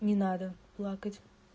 не надо плакать